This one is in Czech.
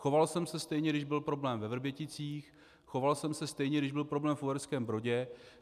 Choval jsem se stejně, když byl problém ve Vrběticích, choval jsem se stejně, když byl problém v Uherském Brodě.